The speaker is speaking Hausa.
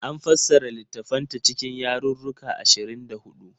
An fassara littattafanta cikin yarruruka ashirin da huɗu.